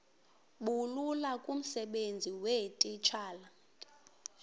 bulula kumsebenzi weetitshala